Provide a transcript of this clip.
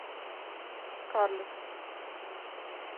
скарлетт